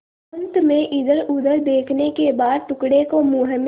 अंत में इधरउधर देखने के बाद टुकड़े को मुँह में